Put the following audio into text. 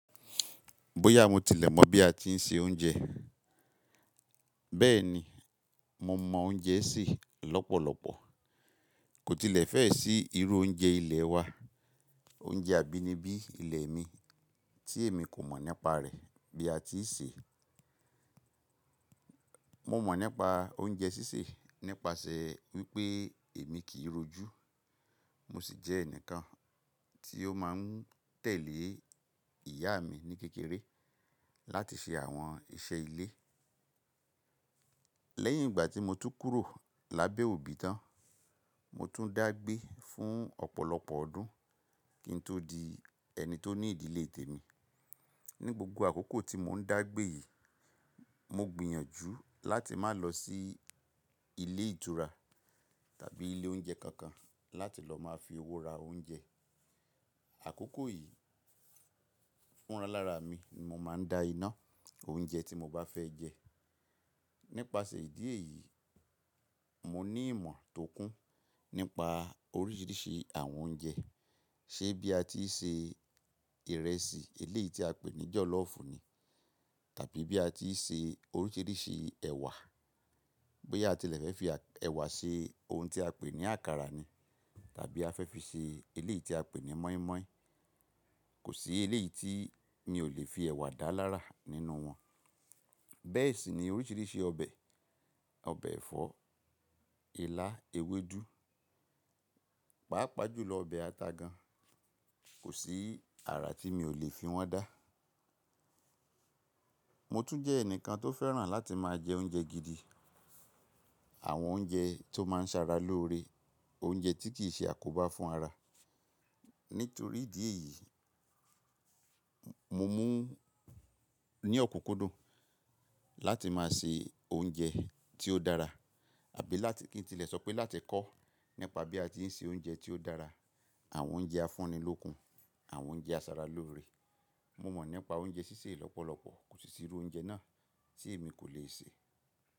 Bóyá mo tilẹ̀ mọ̀ bí a tí ń se oúnjẹ, bẹ́ẹ̀ ni mo mọ oúnjẹ sì lọ́pọ̀lọpọ̀. Kò tilẹ̀ fẹ́ sì irú oúnjẹ ilẹ̀ wa, oúnjẹ abínibí ilẹ̀ mi tí èmi kò mọ̀ nípa rẹ̀ bí a ti ń ṣe. Mo mọ̀ nípa oúnjẹ sísè nípasẹ̀ wípé èmi kì í rojú, mo sì jẹ́ ẹnìkan tí ó máa ń tẹ̀lé ìyá mi ní kékeré láti ṣe àwọn iṣẹ́ ilé. Lẹ́yìn ìgbà tí mo tú kúrò lábẹ́ òbí tán, mo tún dá gbé fún ọ̀pọ̀lọpọ̀ ọdún kí n tó di ẹni tó ní ìdílé tèmi. Ni gbogbo àkókò tí mò ń dá gbé yìí, mo gbìyànjú láti má lọ sí ilé ìtura tàbí ilé oúnjẹ kankan láti lọ máa fi owó ra oúnjẹ. Àkókò yìí fúnra lára mi ni mo máa ń da iná oúnjẹ tí mo bá fẹ́ jẹ. Nípasẹ̀ ìdí èyí, mo ní ìmọ̀ tó kún nípa oríṣìíríṣìí àwọn oúnjẹ. Ṣé bí a ti ń se ìrẹsì eléyìí tí a pè ní jọ̀lọ́ọ̀fù ni, tàbí bí a ti ń se oríṣìíríṣìí ẹ̀wà, bóyá a tilẹ̀ fẹ́ fi ẹ̀wà se ohun tí a pè ní àkàrà ni tàbí a fẹ́ fi ṣe eléyìí tí a pè ní mọ́ímọ́í, kò sí eléyìí tí mi ò lè fi ẹ̀wà dá lára nínú wọn. Bẹ́ẹ̀ sì ni oríṣìíríṣìí ọbẹ̀, ọbẹ̀ ẹ̀fọ́, ilá, ewédú, pàápàá jùlọ ọbẹ̀ ata gan, kò sí àrà tí mi ò lè fi wọ́n dá. Mo tún jẹ́ ẹnìkan tó fẹ́ràn láti máa jẹ oúnjẹ gidi, àwọn oúnjẹ tó máa ń sara lóore, oúnjẹ tí kì í ṣe àkóbá fún ara. Nítorí ìdí èyí, mo mú ní ọ̀kúkúndùn láti máa se oúnjẹ tí ó dára àbí láti kí n tilẹ̀ sọ pé láti kọ́ nípa bí a ti ń se oúnjẹ tí ó dára, àwọn oúnjẹ afúnilókun, àwọn oúnjẹ asaralóore. Mo mọ̀ nípa oúnjẹ sísè lọ́pọ̀lọpọ̀, kò sí irú oúnjẹ náà tí èmi kò lè sè.